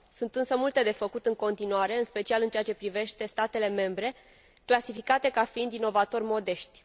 Sunt însă multe de făcut în continuare, în special în ceea ce privește statele membre clasificate ca fiind inovatori modești.